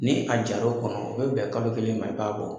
Ni a jar'o kɔnɔ o bɛ bɛn kalo kelen ma i b'a bɔ.